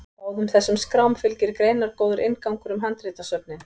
Báðum þessum skrám fylgir greinargóður inngangur um handritasöfnin.